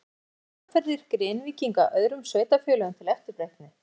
En eru þessar aðferðir Grenvíkinga öðrum sveitarfélögum til eftirbreytni?